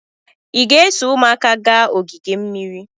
Ị ga-eso ụmụaka ga-aga ogige mmiri?